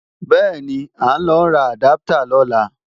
Bẹ́ẹ̀ni, à ń lọ ra àdáptà lọ́la